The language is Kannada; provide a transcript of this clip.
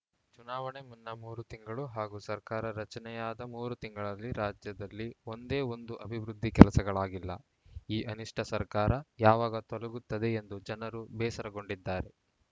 ಚುನಾವಣೆ ಮುನ್ನ ಮೂರು ತಿಂಗಳು ಹಾಗೂ ಸರ್ಕಾರ ರಚನೆಯಾದ ಮೂರು ತಿಂಗಳಲ್ಲಿ ರಾಜ್ಯದಲ್ಲಿ ಒಂದೇ ಒಂದು ಅಭಿವೃದ್ಧಿ ಕೆಲಸಗಳಾಗಿಲ್ಲ ಈ ಅನಿಷ್ಟಸರ್ಕಾರ ಯಾವಾಗ ತೊಲಗುತ್ತದೆ ಎಂದು ಜನರು ಬೇಸರಗೊಂಡಿದ್ದಾರೆ